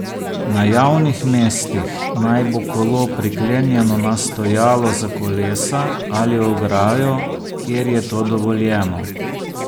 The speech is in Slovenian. Na javnih mestih naj bo kolo priklenjeno na stojalo za kolesa ali ograjo, kjer je to dovoljeno.